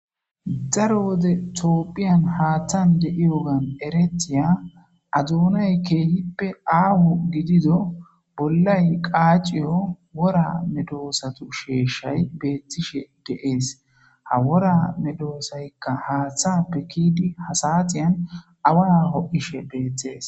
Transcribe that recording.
daro wode toophiyan haaththan de7i wogan eretiya aduonay keehippe aahu gidido bollay qaaciyo wora medoosatu sheeshay beettishe deees ha wora medoosaykka haaththappe kiidi hasaxiyan awaho ishe beetthees